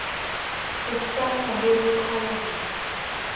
ho hasanya le ho qhalanya